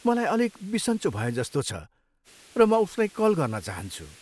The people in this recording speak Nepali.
मलाई अलिक बिसन्चो भएजस्तो छ र म उसलाई कल गर्न चाहन्छु।